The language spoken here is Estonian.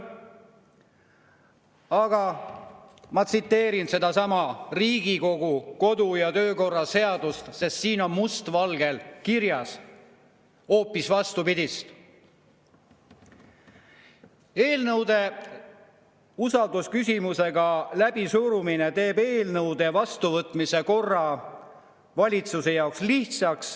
Aga ma tsiteerin sedasama Riigikogu kodu- ja töökorra seadust, sest siin on must valgel kirjas hoopis vastupidine: eelnõude usaldusküsimusega läbisurumine teeb eelnõude vastuvõtmise korra valitsuse jaoks lihtsaks.